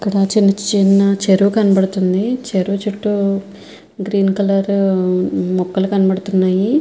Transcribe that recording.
ఇక్కడ చిన్న చిన్న చెరువు కనబడుతూ వుంది. చెరువు చుట్టూ గ్రీన్ కలర్ మొక్కలు కనబడుతూ వున్నాయ్.